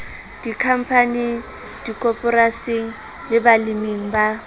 dikhampaning dikoporasing le baleming ba